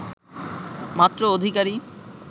মাত্র অধিকারী